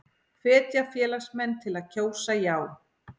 Hvetja félagsmenn til að kjósa já